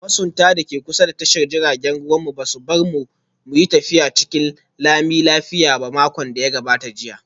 Masuntan da ke kusa da tashar jiragen ruwa ba su bar mu mu yi tafiya cikin lami lafiya a makon da ya gabata ba